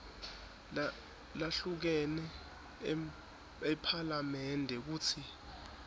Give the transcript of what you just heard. lahlukene ephalamende kutsi